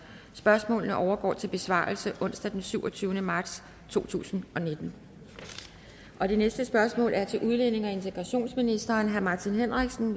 spørgsmålene overgår til besvarelse onsdag den syvogtyvende marts to tusind og nitten det næste spørgsmål er til udlændinge og integrationsministeren af martin henriksen